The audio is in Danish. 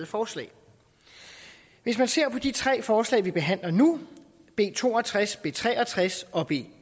forslag hvis man ser på de tre forslag vi behandler nu b to og tres b tre og tres og b